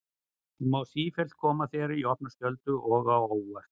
Hún mun sífellt koma þér í opna skjöldu og á óvart.